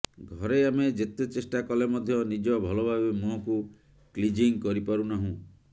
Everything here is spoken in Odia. ଘରେ ଆମେ ଯେତେ ଚେଷ୍ଟା କଲେ ମଧ୍ୟ ନିଜ ଭଲଭାବେ ମୁହଁକୁ କ୍ଲିଜିଂ କରିପାରୁନାହୁଁ